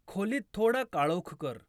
खोलीत थोडा काळोख कर